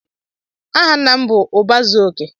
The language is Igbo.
Aha nna m bụ "Ụba zuo okè"